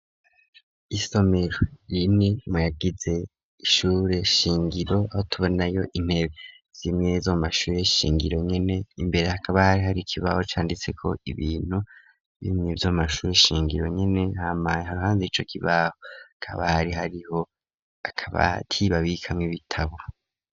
Isomero rimwe muyagize ishure shingiro, tubonayo intebe z'imwe zo mu mashuri shingiro, nyene imbere hakaba hari hari ikibaho canditse ko ibintu bimwe bya mumashuri shingiro nyene, hamaye haruhande ico kibaho akaba hari hariho akabati babikamw 'ibitabo.